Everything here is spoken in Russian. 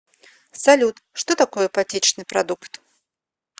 салют что такое ипотечный продукт